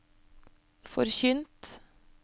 forkynt